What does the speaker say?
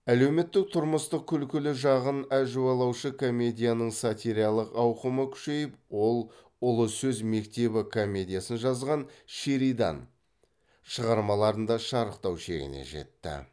әлеуметтік тұрмыстың күлкілі жағын әжуалаушы комедияның сатиралық ауқымы күшейіп ол ұлы сөз мектебі комедиясын жазған шеридан шығармаларында шарықтау шегіне жетті